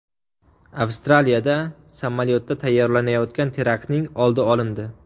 Avstraliyada samolyotda tayyorlanayotgan teraktning oldi olindi.